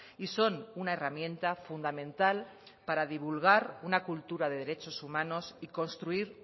y son una herramienta fundamental para divulgar una cultura de derechos humanos y construir